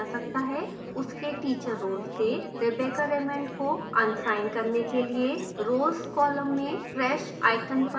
उसके teacher role से rebecca raymond को unअसाइन करने के लिए roles column में trash icon पर click करें